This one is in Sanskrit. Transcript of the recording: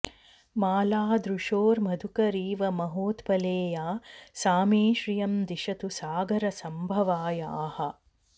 माला दृशोर्मधुकरीव महोत्पले या सा मे श्रियं दिशतु सागरसम्भवायाः